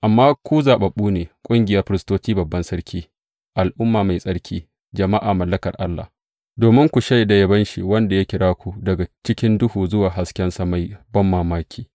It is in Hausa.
Amma ku zaɓaɓɓu ne, ƙungiyar firistocin babban Sarki, al’umma mai tsarki, jama’a mallakar Allah, domin ku shaida yabon shi wanda ya kira ku daga cikin duhu zuwa haskensa mai banmamaki.